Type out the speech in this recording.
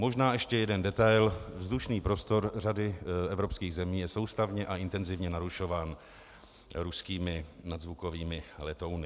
Možná ještě jeden detail: vzdušný prostor řady evropských zemí je soustavně a intenzivně narušován ruskými nadzvukovými letouny.